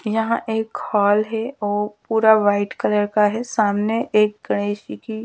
यहाँ एक हॉल है और पूरा व्हाइट कलर का है सामने एक गणेश जी कि--